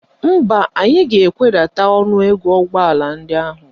Mba, anyị ga-ewedata ọnụego ụgbọala ndị ahụ.